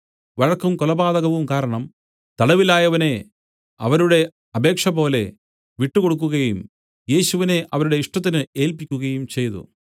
വഴക്കും കൊലപാതകവും കാരണം തടവിലായവനെ അവരുടെ അപേക്ഷപോലെ വിട്ടുകൊടുക്കുകയും യേശുവിനെ അവരുടെ ഇഷ്ടത്തിന് ഏല്പിക്കുകയും ചെയ്തു